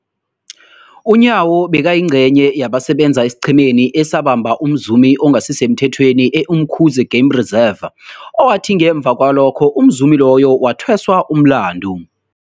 UNyawo bekayingcenye yabasebenza esiqhemeni esabamba umzumi ongasisemthethweni e-Umkhuze Game Reserve, owathi ngemva kwalokho umzumi loyo wathweswa umlandu.